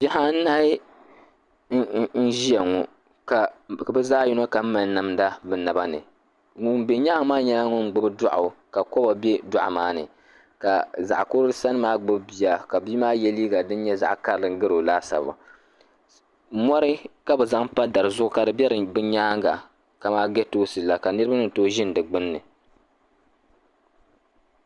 Bihi anahi n ʒia ŋɔ ka bɛ zaɣa yino kam mali namda o naba ni ŋun be nyaanga maa nyɛla ŋun gbibi doɣu ka koba be doɣu maa ni ka zaɣa kurili sani maa gbibi bia ka bia maa ye liiga din nyɛ zaɣa karili gari o laasabu mori ka bɛ zaŋ pa dari zuɣu ka di be bɛ nyaanga ka man getoosi la ka niriba ni toogi ʒini di gbinni.